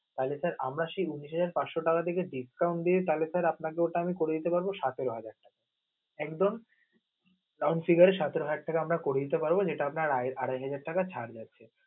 তালি sir আমরা সেই উনিশ হাজার পাচশ থেকে discount দিই, তালি sir আপনাকে ওটা আমি করে দিতে পারব সতেরো হাজার টাকা. একদম count figure এ সতেরো হাজার টাকা আমরা করে দিতে পারব. যেটা আপনার আ~আড়াই হাজার টাকা ছাড় গেছে.